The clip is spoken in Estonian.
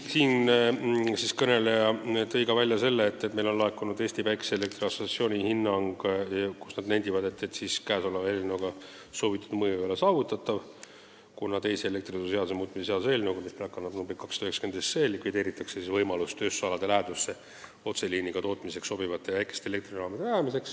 Siinkõneleja märkis istungil, et meile on laekunud Eesti Päikeseelektri Assotsiatsiooni hinnang, kus nad nendivad, et eelnõuga soovitud mõju ei ole saavutatav, kuna teise elektrituruseaduse muutmise seaduse eelnõu kohaselt, mis praegu kannab numbrit 290, likvideeritakse võimalus rajada tööstusalade lähedusse otseliiniga sobivaid väikesi elektrijaamu.